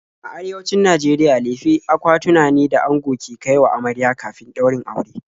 A Arewacin Najeriya lefe akwatuna ne da ango ke kai wa amarya kafin ɗaurin aure.